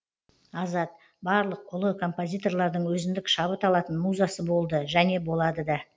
азат барлық ұлы композиторлардың өзіндік шабыт алатын музасы болды және болады да